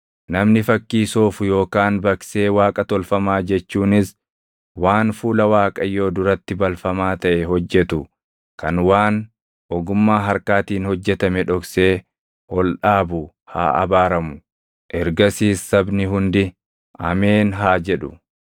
“Namni fakkii soofu yookaan baqsee Waaqa tolfamaa jechuunis waan fuula Waaqayyoo duratti balfamaa taʼe hojjetu kan waan ogummaa harkaatiin hojjetame dhoksee ol dhaabu haa abaaramu.” Ergasiis sabni hundi, “Ameen!” haa jedhu.